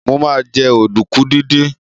Mo ma jẹ́ ọ̀dùnkún díndín